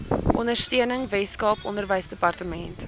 ondersteuning weskaap onderwysdepartement